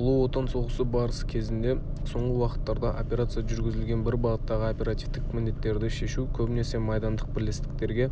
ұлы отан соғысы барысы кезінде соңғы уақыттарда операция жүргізілген бір бағыттағы оперативтік міндеттерді шешу көбінесе майдандық бірлестіктерге